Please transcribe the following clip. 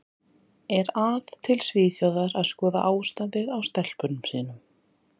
Er að til Svíþjóðar að skoða ástandið á stelpunum sínum.